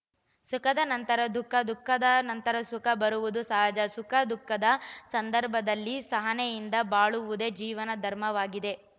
ಸುಖದ ನಂತರ ದುಃಖ ದುಃಖದ ನಂತರ ಸುಖ ಬರುವುದು ಸಹಜ ಸುಖ ದುಃಖದ ಸಂದರ್ಭದಲ್ಲಿ ಸಹನೆಯಿಂದ ಬಾಳುವುದೇ ಜೀವನ ಧರ್ಮವಾಗಿದೆ